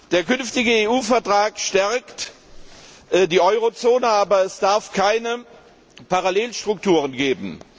Der künftige EU Vertrag stärkt die Euro Zone, aber es darf keine Parallelstrukturen geben.